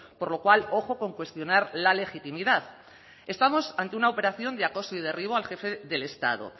por lo cual ojo con cuestionar la legitimidad estamos ante una operación de acoso y derribo al jefe del estado